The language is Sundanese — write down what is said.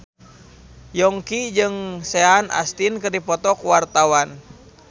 Yongki jeung Sean Astin keur dipoto ku wartawan